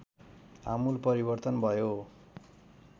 आमूल परिवर्तन भयो